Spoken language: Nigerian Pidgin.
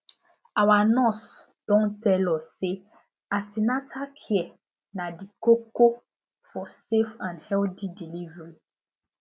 our nurse don tell us say an ten atal care na de koko for safe and healthy delivery